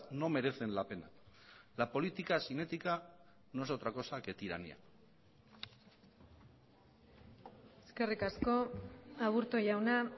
no merecen la pena la política sin ética no es otra cosa que tiranía eskerrik asko aburto jauna